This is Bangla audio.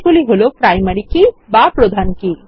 সেগুলি হল প্রাইমারী কি বা প্রধান কি